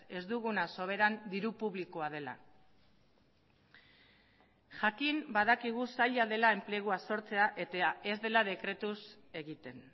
ez duguna soberan diru publikoa dela jakin badakigu zaila dela enplegua sortzea eta ez dela dekretuz egiten